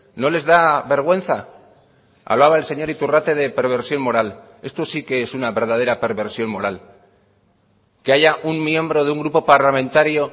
no les da vergüenza hablaba el señor iturrate de perversión moral esto sí qué es una verdadera perversión moral que haya un miembro de un grupo parlamentario